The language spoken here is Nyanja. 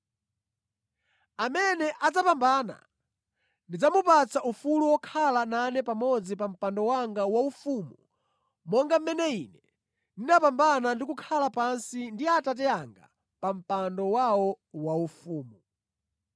Amene adzapambana, ndidzamupatsa ufulu wokhala nane pamodzi pa mpando wanga waufumu monga mmene Ine ndinapambana ndi kukhala pansi ndi Atate anga pa mpando wawo waufumu.